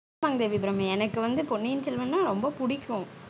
ஆமாங்க தேவி அபிராமி எனக்கு வந்து பொன்னியின் செல்வன்னா ரொம்ப புடிக்கும்